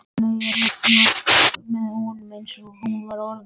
Vestmannaeyjahöfn var byggð með honum, eins og hún orðar það.